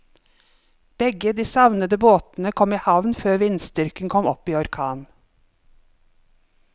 Begge de savnede båtene kom i havn før vindstyrken kom opp i orkan.